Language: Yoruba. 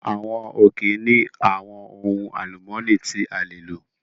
Àwọn òkè ní àwọn ohun alumọni tí a lè lò